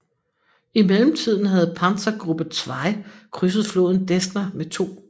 I mellemtiden havde Panzergruppe 2 krydset floden Desna med 2